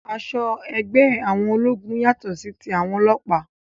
Aṣọ ẹgbẹ́ àwọn ológun yàtọ sí tí àwọn ọlọ́pàá